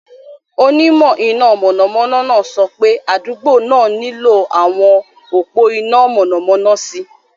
Onímọ̀ iná mọ̀nàmọ́ná náà sọ pé adugbo náà nílò àwọn òpó iná mọ̀nàmọ́ná sí i.